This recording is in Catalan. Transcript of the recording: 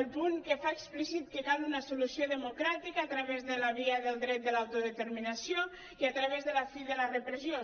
el punt que fa explícit que cal una solució democràtica a través de la via del dret de l’autodeterminació i a través de la fi de la repressió